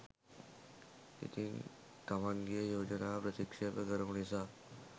ඉතින් තමන්ගෙ යෝජනාව ප්‍රතික්ෂේප කරපු නිසා